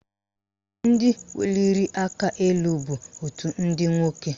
Ndị weliri aka elu bụ òtù ndị nwoke